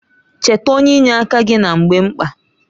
Cheta onye inye aka gị na mgbe mkpa